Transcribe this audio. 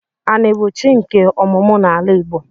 Ani bu chi nke omumu n'ala Igbo.